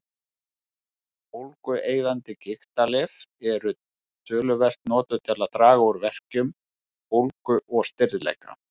Bólgueyðandi gigtarlyf eru töluvert notuð til að draga úr verkjum, bólgu og stirðleika.